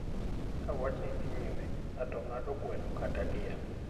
Ka wachni dhi nyime, ng’ato ng’ado gweno kata diel .